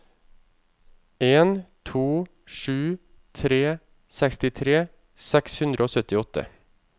en to sju tre sekstitre seks hundre og syttiåtte